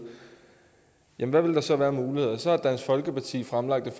hvad ville der så være af muligheder så har dansk folkeparti fremlagt et